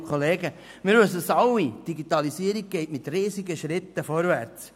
Die Digitalisierung geht mit Riesenschritten vorwärts.